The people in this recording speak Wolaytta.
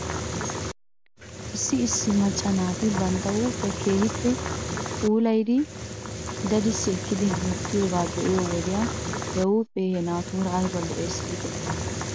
Issi issi macca naati bantta huuphphiyaa keehippe puulayidi dadissi ekkidi hemettiyoogaa be'iyo wodiyan he huuphee he naatuura ayba lo'ees giidetii?